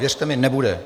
Věřte mi, nebude.